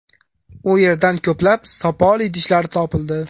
U yerdan ko‘plab sopol idishlar topildi.